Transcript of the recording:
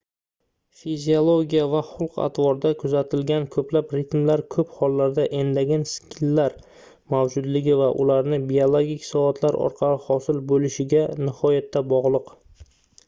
fiziologiya va xulq-atvorda kuzatilgan koʻplab ritmlar koʻp hollarda endogen sikllar mavjudligi va ularning biologik soatlar orqali hosil boʻlishiga nihoyatda bogʻliq